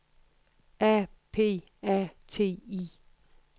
A P A T I